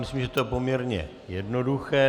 Myslím, že je to poměrně jednoduché.